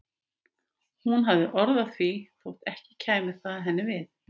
Hún hafði orð á því þótt ekki kæmi það henni við.